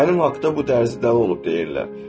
Mənim haqda bu dərzi dəli olub deyirlər.